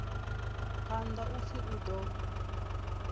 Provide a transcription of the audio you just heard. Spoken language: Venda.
phanḓa u pfi u ḓo